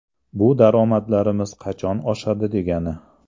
Bu daromadlarimiz qachon oshadi degani.